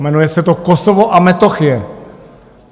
Jmenuje se to Kosovo a Metochie.